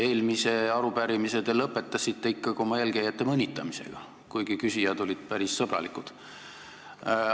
Eelmise arupärimise te lõpetasite ikkagi oma eelkäijate mõnitamisega, kuigi küsijad olid päris sõbralikud.